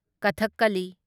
ꯀꯊꯛꯀꯂꯤ